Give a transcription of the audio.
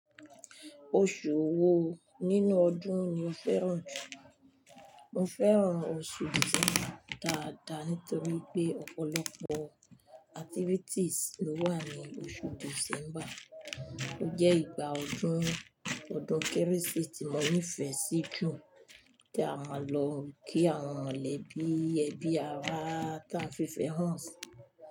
Oṣù wo nínú ọdún ni o fẹ́ràn jù? Mo fẹ́ràn oṣù December dáadáa nítorí pé ọ̀pọ̀lọpọ̀ activities ló wà ní oṣù December. Ó jẹ́ ìgbà ọdún ọdún Kérésì tí mo nífẹ̀ẹ́ sí jù tí a máa ń lọ kí àwọn ẹlẹ́bí, ẹbí ará táa fi fẹ́ràn si.